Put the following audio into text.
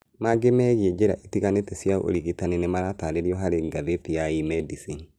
Mangĩ megiĩ njĩra itiganĩte cia ũrigitani nĩiratarĩrio harĩ ngathĩti ya eMedicine